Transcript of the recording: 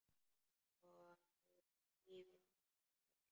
Og nú ýfist konan öll.